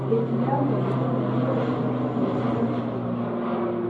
Efilamu edukuya naingua olosho le Kenya eshinda ina sawadi.